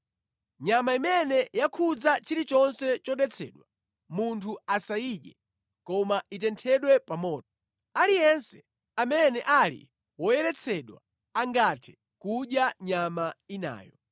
“ ‘Nyama imene yakhudza chilichonse chodetsedwa, munthu asayidye, koma itenthedwe pa moto. Aliyense amene ali woyeretsedwa angathe kudya nyama inayo.